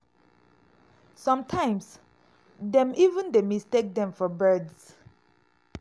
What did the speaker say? sometimes dem even dey mistake dem for birds.